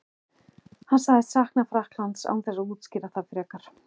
Hann sagðist sakna Frakklands án þess að útskýra það frekar.